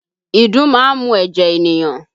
Ìdun máa ń mu ẹ̀jẹ̀ ènìyàn